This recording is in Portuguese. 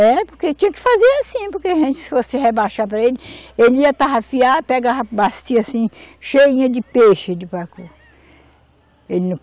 É, porque tinha que fazer assim, porque a gente, se fosse rebaixar para ele, ele ia tarrafiar, pegava a bacia assim, cheinha de peixe de pacu. Ele não